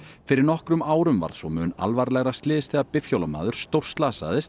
fyrir nokkrum árum varð svo mun alvarlegra slys þegar bifhjólamaður